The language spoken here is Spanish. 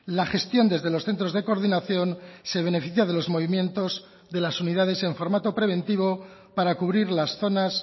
la gestión desde los centros de coordinación se beneficia de los movimientos de las unidades en formato preventivo para cubrir las zonas